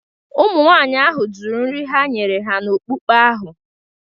Ụmụnwaanyị ahụ jụrụ nri ha nyere ha n’okpukpe ahụ.